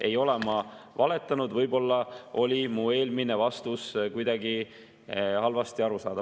Ei ole ma valetanud, võib-olla oli mu eelmine vastus kuidagi halvasti arusaadav.